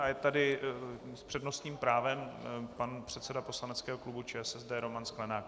A je tady s přednostním právem pan předseda poslaneckého klubu ČSSD Roman Sklenák.